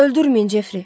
Öldürməyin Jefri.